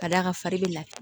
Ka d'a kan fari bɛ lafiya